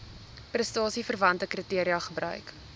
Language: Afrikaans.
prestasieverwante kriteria gebruik